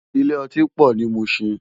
Ilé òtín pò ni Mushin